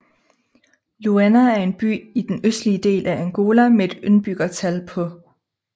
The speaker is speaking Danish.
Luena er en by i den østlige del af Angola med et indbyggertal på